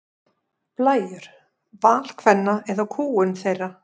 Blæjur: Val kvenna eða kúgun þeirra?